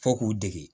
Fo k'u dege